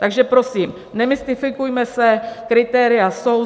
Takže prosím, nemystifikujme se, kritéria jsou.